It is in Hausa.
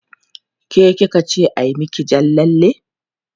Ke ki ka ce a yi miki jan lalle?